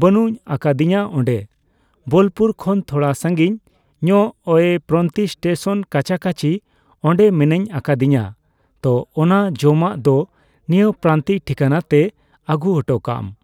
ᱵᱟᱹᱱᱩᱧ ᱟᱠᱟᱫᱤᱧᱟᱹᱚᱱᱮ ᱵᱚᱞᱯᱩᱨᱠᱷᱚᱱ ᱛᱷᱚᱲᱟ ᱥᱟᱹᱜᱤᱧ ᱧᱚᱜ ᱳᱭ ᱯᱨᱟᱱᱛᱤᱠ ᱴᱮᱥᱚᱱ ᱠᱟᱪᱟᱠᱟᱹᱪᱤ ᱚᱸᱰᱮ ᱢᱮᱱᱟᱧ ᱟᱠᱟᱫᱤᱧᱟᱹ ᱛᱚ ᱚᱱᱟ ᱡᱚᱢᱟᱜ ᱫᱚ ᱱᱤᱭᱟᱹ ᱯᱨᱟᱱᱛᱤᱠ ᱴᱷᱤᱠᱟᱱᱟᱛᱮ ᱟᱹᱜᱩ ᱩᱴᱩᱠᱟᱢ ᱾